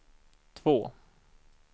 två